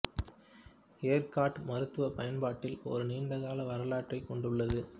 எர்காட் மருத்துவப் பயன்பாட்டில் ஒரு நீண்ட கால வரலாற்றைக் கொண்டுள்ளது